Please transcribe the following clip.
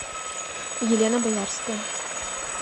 елена боярская